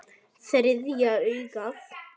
Þriðja augað.